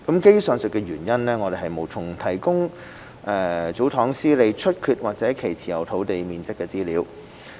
基於上述原因，我們無從提供祖堂司理出缺或其持有土地面積的資料。